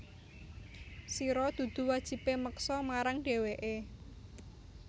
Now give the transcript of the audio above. Sira dudu wajibè meksa marang dhèwèké